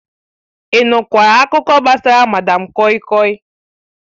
Ị nụkwara akụkọ gbasara madam koi koi?